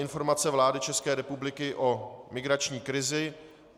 Informace vlády České republiky o migrační krizi